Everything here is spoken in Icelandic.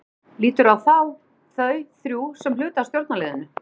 Ert þú, líturðu á þá, þau þrjú sem hluta af stjórnarliðinu?